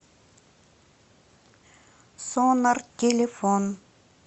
сонар телефон